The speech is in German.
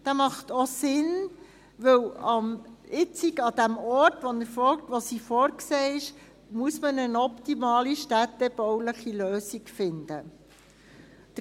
Dieser ergibt auch Sinn, weil man jetzt an dem Ort, wo sie vorgesehen ist, eine optimale städtebauliche Lösung finden muss.